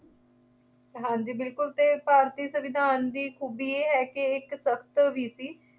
ਹਾਂਜੀ ਬਿਲਕੁਲ ਅਤੇ ਭਾਰਤੀ ਸੰਵਿਧਾਨ ਦੀ ਖੂਬੀ ਇਹ ਹੈ ਕਿ ਇਹ ਇੱਕ ਸਖਤ ਵੀ ਸੀ